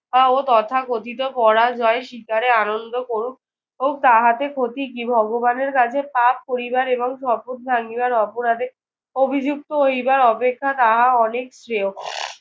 আহ ও তথাকথিত পরাজয় স্বীকারে আনন্দ করুক এবং তাহাতে ক্ষতি কি? ভগবানের কাছে পাপ করিবার এবং শপথ ভাঙিবার অপরাধে অভিযুক্ত হইবার অপেক্ষা তাহা অনেক শ্রেয়।